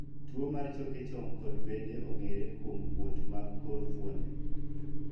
Tuo mar choke chong kod bede ong'ere kuom kuot mag kor fuonde.